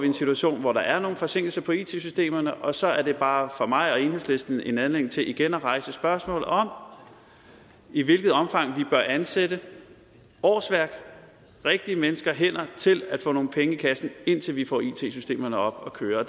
en situation hvor der er nogle forsinkelser på it systemerne og så er det bare for mig og for enhedslisten en anledning til igen at rejse spørgsmålet om i hvilket omfang vi bør ansætte årsværk rigtige mennesker hænder til at få nogle penge i kassen indtil vi får it systemerne op at køre